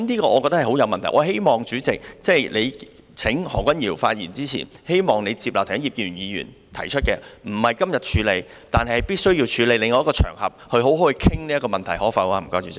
我希望主席請何君堯議員發言之前，接納葉建源議員剛才提出的建議，即不在今天處理這問題，但必須處理，在另一個場合好好地討論這問題，主席，可不可以呢？